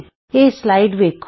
ਇਹ ਸਲਾਈਡ ਵੇਖੋ